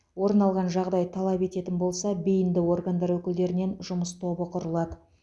орын алған жағдай талап ететін болса бейінді органдар өкілдерінен жұмыс тобы құрылады